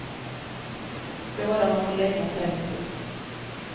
Båda har för länge sen gett upp.